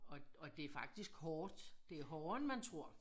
Og og det fakisk hårdt det hårdere end man tror